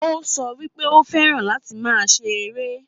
Ó sọ wípé ó fẹ́ràn láti máa ṣe eré